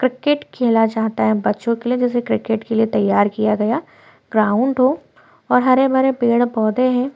Cricket खेला जाता है बच्चों के लिए जैसे क्रिकेट के लिए तैयार किया गया ग्राउंड हो और हरे भरे पेड़ पौधे हैं।